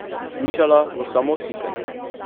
Slišala bo samo sikanje.